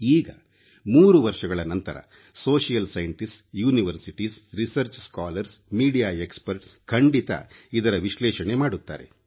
ಈಗ 3 ವರ್ಷಗಳ ನಂತರ ಸಾಮಾಜಿಕ ವಿಜ್ಞಾನಿಗಳು ವಿಶ್ವವಿದ್ಯಾಲಯಗಳು ರಿಸರ್ಚ್ ಸ್ಕಾಲರ್ ಗಳು ಮಾಧ್ಯಮ ತಜ್ಞರು ಖಂಡಿತ ಇದರ ವಿಶ್ಲೇಷಣೆ ಮಾಡುತ್ತಾರೆ